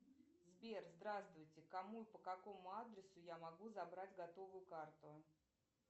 сбер здравствуйте кому и по какому адресу я могу забрать готовую карту